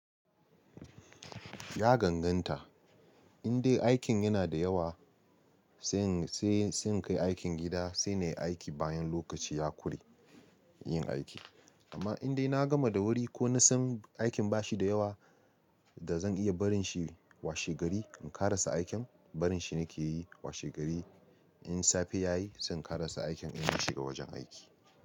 Ya ganganta, in dai aikin yana da yawa sai in kai aikin gida sai na yi aiki bayan lokaci ya ƙure yin aiki. Amma in dai na gama da wuri ko na san aikin bashi da yawa da zan iya barin shi washe gari in ƙarasa aikin barin shi na ke yi washe gari. In safe ya yi sai in ƙarasa aikin in na shiga wajen aiki.